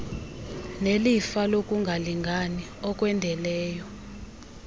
nelifa lokungalingani okwendeleyo